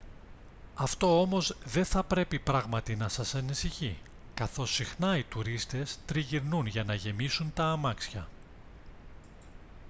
αυτό όμως δεν θα πρέπει πράγματι να σας ανησυχεί καθώς συχνά οι τουρίστες τριγυρνούν για να γεμίσουν τα αμάξια